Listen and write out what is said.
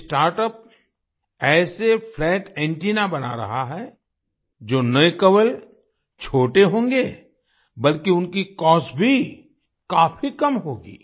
ये स्टार्टअप्स ऐसे flat antenna बना रहा है जो न केवल छोटे होंगे बल्कि उनकी कॉस्ट भी काफी कम होगी